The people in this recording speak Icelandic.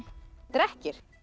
drekkir